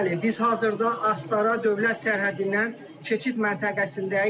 Bəli, biz hazırda Astara dövlət sərhəddindən keçid məntəqəsindəyik.